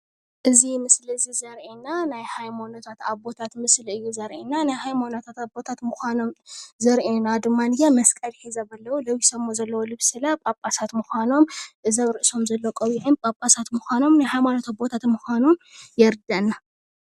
እዚ ምስሊ እዚ ዘርኢና ናይ ሃይማኖታት አቦታት ምስሊ እዩ ዘረኢና ።ናይ ሃይማኖታት አቦታት ምኻኖም ዘርኢና ድማኒየ መስቀል ሒዞም አለው። ለቢሶምዎ ዘለው ልብሲ ለ ጳጳሳት ምኻኖም እዚ አብ ርእሶም ዘሎ ቆቢዕን እዞም ጳጳሳት ምኻኖም ናይ ሃይማኖት አቦታት ምኻኖም የርዳእና።